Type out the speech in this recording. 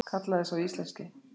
Kallaði sá íslenski.